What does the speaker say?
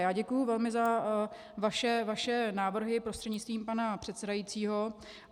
Já děkuji velmi za vaše návrhy prostřednictvím pana předsedajícího.